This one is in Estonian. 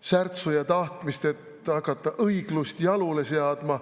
särtsu ja tahtmist, et hakata õiglust jalule seadma.